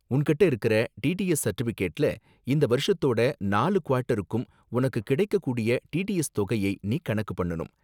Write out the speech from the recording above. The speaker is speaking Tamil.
உன்கிட்ட இருக்கற டிடிஎஸ் சர்டிபிகேட்ல இந்த வருஷத்தோட நாலு குவார்ட்டருக்கும் உனக்கு கிடைக்கக்கூடிய டிடிஎஸ் தொகையை நீ கணக்கு பண்ணனும்.